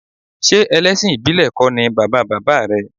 Ṣé ẹlẹ́sìn ìbílẹ̀ kọ́ ni bàba bàbá rẹ̀?